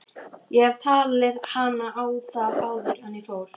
Ég hefði talið hana á það áður en ég fór.